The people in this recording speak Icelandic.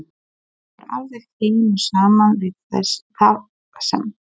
Það kemur alveg heim og saman við það sem